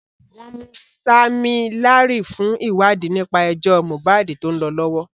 Wọ́n mú Sammy Larry fún ìwádìí nípa ẹjọ́ Mohbad tó ń lọ lọ́wọ́.